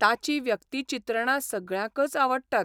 ताचीं व्यक्तिचित्रणां सगळ्यांकच आवडटात.